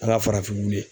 Ala farafinw ye